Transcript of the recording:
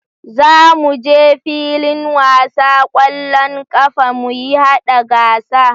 Za mu je filin wasa kwallon ƙafa muyi haɗa gasa